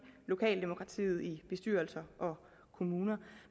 lokaldemokratiet i bestyrelser og kommuner